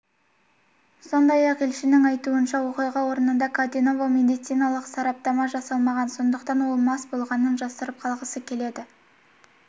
сондай-ақ елшінің айтуынша оқиға орнында каденоваға медициналық сараптама жасалмаған сондықтан ол мас болғанын жасырып қалғысы келеді